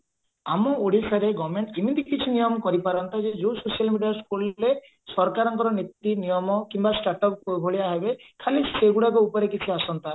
ଆମ ଓଡିଶାରେ government ଏମିତି କିଛି ନିୟମ କରିପାରନ୍ତା ଯେ ଯୋଉ social media ଖୋଲିଲେ ସରକାରଙ୍କ ନୀତି ନିୟମ କିମ୍ବା start up ଭଳିଆ ହେବେ ଖାଲି ସେଇଗୁଡାକ ଉପରେ କିଛି ଆସନ୍ତା